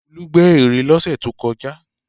Olú gbẹ́ ère lọ́sẹ̀ tó kọjá.